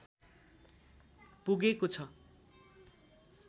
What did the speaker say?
पुगेको छ